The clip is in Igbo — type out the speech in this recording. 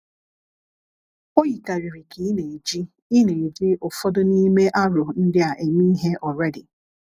O yikarịrị ka ị na-eji ị na-eji ụfọdụ n’ime aro ndị a eme ihe already.